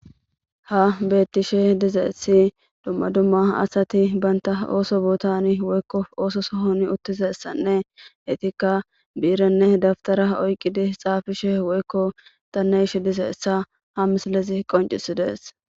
Ha beettishe dizaessi dumma dumma asati baynta ooso buutani woykko ooso sohoni uttizessanne etikka biiranne daftara oyqqidi xaafishe woykko tanne ishe dizeessa ha mislezi qoncisi dees.